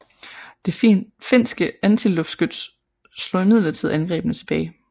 Det finske antiluftskyts slog imidlertid angrebene tilbage